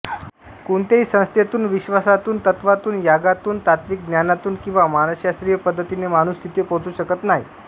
कोणत्याही संस्थेतून विश्वासातून तत्त्वातून यागातून तात्त्विक ज्ञानातून किंवा मानसशास्त्रीय पद्धतीने माणूस तिथे पोहचू शकत नाही